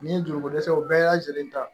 Ni ndogo dɛsɛw bɛɛ lajɛlen ta